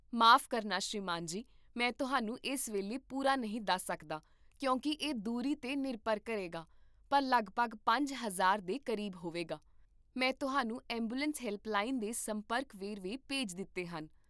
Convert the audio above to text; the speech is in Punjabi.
ਮਾਫ਼ ਕਰਨਾ ਸ੍ਰੀਮਾਨ ਜੀ, ਮੈਂ ਤੁਹਾਨੂੰ ਇਸ ਵੇਲੇ ਪੂਰਾ ਨਹੀਂ ਦੱਸ ਸਕਦਾ ਕਿਉਂਕਿ ਇਹ ਦੂਰੀ 'ਤੇ ਨਿਰਭਰ ਕਰੇਗਾ, ਪਰ ਲੱਗਭਗ ਪੰਜ ਹਜ਼ਾਰ ਦੇ ਕਰੀਬ ਹੋਵੇਗਾ